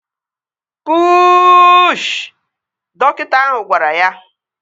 Puuuuuushị! Dọkịta ahụ gwara ya